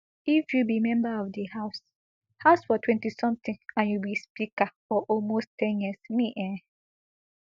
if you be member of di house house for twenty something and you be speaker for almost ten years me e